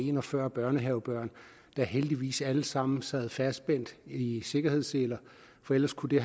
en og fyrre børnehavebørn der heldigvis alle sammen sad fastspændt i i sikkerhedsseler for ellers kunne det